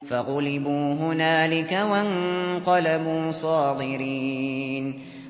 فَغُلِبُوا هُنَالِكَ وَانقَلَبُوا صَاغِرِينَ